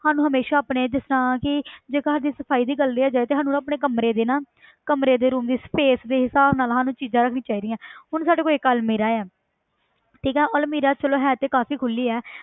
ਸਾਨੂੰ ਹਮੇਸ਼ਾ ਆਪਣੇ ਜਿਸ ਤਰ੍ਹਾਂ ਕਿ ਜੇ ਘਰ ਦੀ ਸਫ਼ਾਈ ਵੀ ਕਰ ਲਈਏ ਜੇ ਤਾਂ ਸਾਨੂੰ ਆਪਣੇ ਕਮਰੇ ਦੇ ਨਾ ਕਮਰੇ ਦੇ room space ਦੇ ਹਿਸਾਬ ਨਾਲ ਸਾਨੂੰ ਚੀਜ਼ਾਂ ਰੱਖਣੀਆਂ ਚਾਹੀਦੀਆਂ ਹੁਣ ਸਾਡੇ ਕੋਲ ਇੱਕ ਅਲਮੀਰਾ ਆ ਠੀਕ ਹੈ ਉਹ ਅਲਮੀਰਾ ਚਲੋ ਹੈ ਤੇ ਕਾਫ਼ੀ ਖੁੱਲੀ ਹੈ